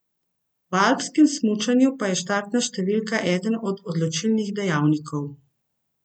V alpskem smučanju pa je štartna številka eden od odločilnih dejavnikov.